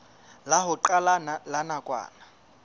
la ho qala la nakwana